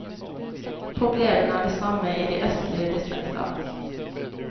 Problemene er de samme i de østlige distrikter.